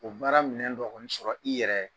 O baara minɛ dɔ o sɔrɔ i yɛrɛ